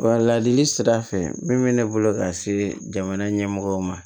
Wa ladili sira fɛ min bɛ ne bolo ka se jamana ɲɛmɔgɔw ma